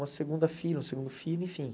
Uma segunda filha, um segundo filho, enfim.